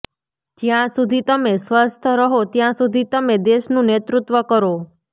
જ્યાં સુધી તમે સ્વસ્થ રહો ત્યાં સુધી તમે દેશનું નેતૃત્વ કરો